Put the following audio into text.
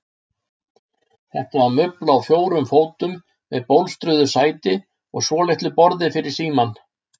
Þetta var mubla á fjórum fótum með bólstruðu sæti og svolitlu borði fyrir símann.